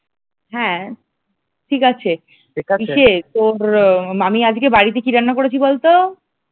হ্যাঁ ঠিক আছে ইসে তোর আমি আজকে বাড়িতে কি রান্না করেছি বলতো?